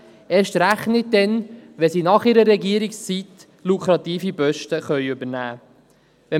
Dies insbesondere dann nicht, wenn sie nach ihrer Regierungszeit lukrative Posten übernehmen können.